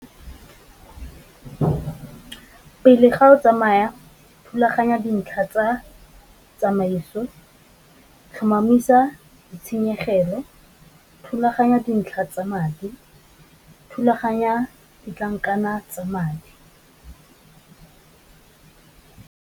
Pele ga o tsamaya thulaganya ya dintlha tsa tsamaiso, tlhomamisa di tshenyegelo, thulaganya dintlha tsa madi, thulaganya ditlankana tsa madi.